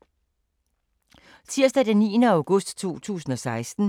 Tirsdag d. 9. august 2016